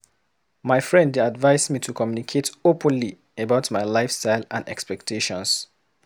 My friend dey advise me to communicate openly about my lifestyle and expectations.